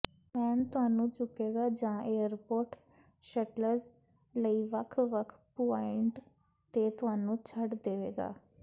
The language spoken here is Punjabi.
ਵੈਨ ਤੁਹਾਨੂੰ ਚੁੱਕੇਗਾ ਜਾਂ ਏਅਰਪੋਰਟ ਸ਼ਟਲਜ਼ ਲਈ ਵੱਖ ਵੱਖ ਪੁਆਇੰਟ ਤੇ ਤੁਹਾਨੂੰ ਛੱਡ ਦੇਵੇਗਾ